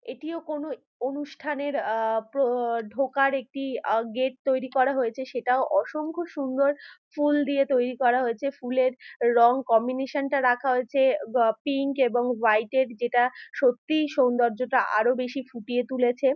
এটিও কোন অনুষ্ঠানের আ প ঢোকার একটি অ গেট তৈরি করা হয়েছে সেটাও অসংখ্য সুন্দর ফুল দিয়ে তৈরি করা হয়েছে ফুলের রং কম্বিনেশন -টা রাখা হয়েছে। পিংক এবং হোয়াইট -এর যেটা সত্যিই সৌন্দর্যটা আরো বেশি ফুটিয়ে তুলেছে।